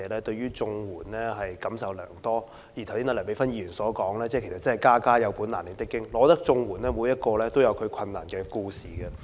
正如剛才梁美芬議員所說，其實真的"家家有本難唸的經"，我覺得每宗綜援個案都有其困難的故事。